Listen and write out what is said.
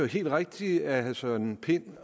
helt rigtigt af herre søren pind